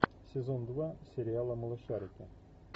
сезон два сериала малышарики